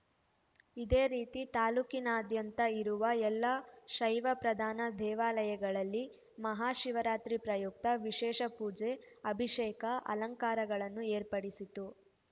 ಇದೇ ರೀತಿ ತಾಲ್ಲೂಕಿನಾದ್ಯಂತ ಇರುವ ಎಲ್ಲಾ ಶೈವ ಪ್ರಧಾನ ದೇವಾಲಯಗಳಲ್ಲಿ ಮಹಾ ಶಿವರಾತ್ರಿ ಪ್ರಯುಕ್ತ ವಿಶೇಷ ಪೂಜೆ ಅಭಿಷೇಕ ಅಲಂಕಾರಗಳನ್ನು ಏರ್ಪಡಿಸಿತು